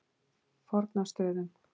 Fornastöðum